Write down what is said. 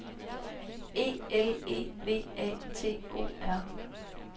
E L E V A T O R